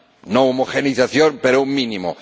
No homogeneización, pero un mínimo.